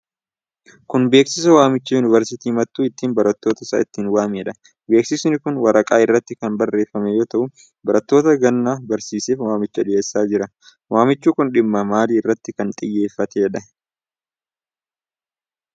Kun beeksisa waamichaa yunvarsiitiin mattuu ittin barattoota isaa ittiin waamedha. Beeksisi kun waraqaa irratti kan barreeffame yoo ta'u, barattoota ganna barsiiseef waamicha dhiyeessaa jira. Waamichi kun dhimma maalii irratti kan xiyyeeffateedha?